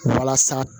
Walasa